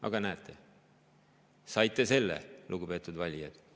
Aga näete, saite selle, lugupeetud valijad.